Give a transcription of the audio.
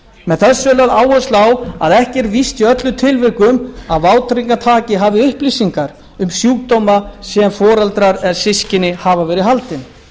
með þessu er lögð áhersla á að ekki er víst í öllum tilvikum að vátryggingartaki hafi upplýsingar um sjúkdóma sem foreldrar eða systkini hafa verið haldin